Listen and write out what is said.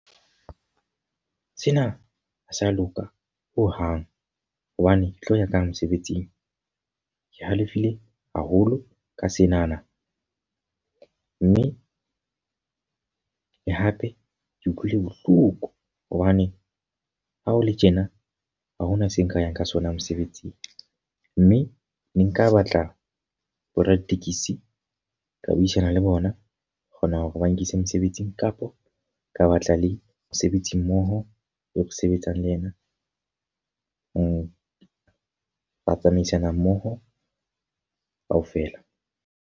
Sena ha se a loka ho hang. Hobane ke tlo ya ka eng mosebetsing. Ke halefile haholo ka senana mme le hape ke utlwile bohloko, hobane ha ho le tjena ha hona se nka yang ka sona mosebetsing. Mme ne nka batla boraditekesi ka buisana le bona, ba kgona hore ba nkise mosebetsing. Kapa ka batla le mosebetsi mmoho e re sebetsang le ena ho tsamaisana mmoho ka ofela.